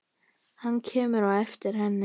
Hann kemur á eftir henni.